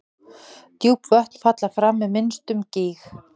Djúp vötn falla fram með minnstum gný.